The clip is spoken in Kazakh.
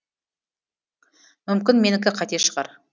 мүмкін менікі қате шығар